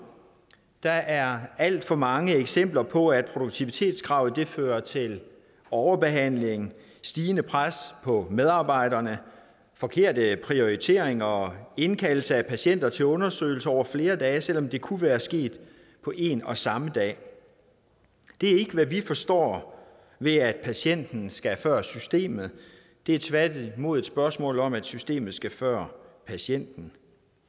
der er alt for mange eksempler på at produktivitetskravet fører til overbehandling stigende pres på medarbejderne forkerte prioriteringer og indkaldelse af patienter til undersøgelse over flere dage selv om det kunne være sket på en og samme dag det er ikke hvad vi forstår ved at patienten skal før systemet det er tværtimod et spørgsmål om at systemet skal før patienten